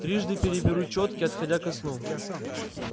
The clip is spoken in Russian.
трижды переберу чётки отходя ко сну